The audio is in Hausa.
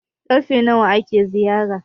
karfe nawa ake ziyara?